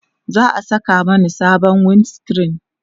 za'a Saka Mani sabon wind screen